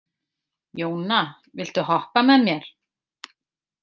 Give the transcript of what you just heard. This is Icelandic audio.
Jóna, viltu hoppa með mér?